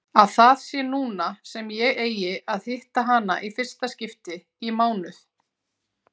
Að það sé núna sem ég eigi að hitta hana í fyrsta skipti í mánuð.